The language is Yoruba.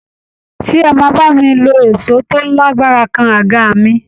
Ṣé ẹ máa bá mi lo èṣó tó lágbára kan aga mi